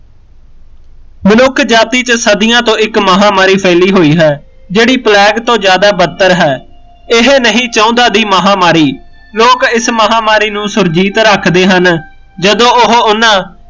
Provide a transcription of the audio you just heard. ਮਨੁੱਖ ਜਾਤੀ ਚ ਸੱਦੀਆਂ ਤੋ ਇੱਕ ਮਹਾਮਾਰੀ ਫੈਲੀ ਹੋਈ ਹੈ ਜਿਹੜੀ ਪਲੇਗ ਤੋ ਜਿਆਦਾ ਬੱਤਰ ਹੈ ਇਹ ਨਹੀਂ ਚਾਹੁੰਦਾ ਦੀ ਮਹਾਮਾਰੀ ਲੋਕ ਇਸ ਮਹਾਮਾਰੀ ਨੂੰ ਸੁਰਜੀਤ ਰੱਖਦੇ ਹਨ ਜਦੋ ਉਹ ਓਹਨਾ